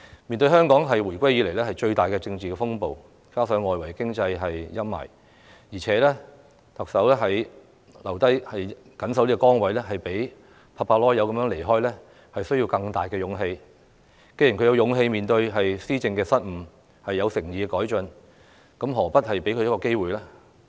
面對香港回歸以來最大的政治風暴，加上外圍經濟的陰霾，特首留下緊守崗位，比拍拍屁股離開需要更大的勇氣，既然她有勇氣面對施政的失誤，有誠意改進，何不給她一個機會？